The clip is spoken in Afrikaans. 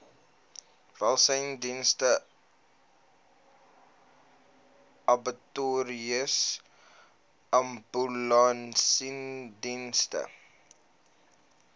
welsynsdienste abattoirs ambulansdienste